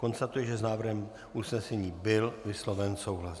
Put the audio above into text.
Konstatuji, že s návrhem usnesení byl vysloven souhlas.